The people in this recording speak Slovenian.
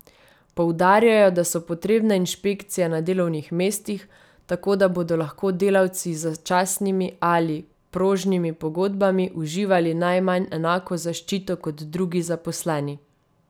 Poudarjajo, da so potrebne inšpekcije na delovnih mestih, tako da bodo lahko delavci z začasnimi ali prožnimi pogodbami uživali najmanj enako zaščito kot drugi zaposleni.